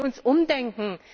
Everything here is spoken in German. Lassen Sie uns umdenken!